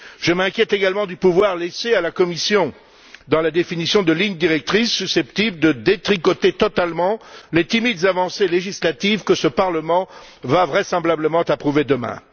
Je m'inquiète également du pouvoir laissé à la Commission dans la définition de lignes directrices susceptibles de détricoter totalement les timides avancées législatives que ce Parlement va, vraisemblablement, approuver demain.